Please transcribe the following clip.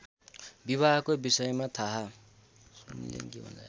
विवाहको विषयमा थाहा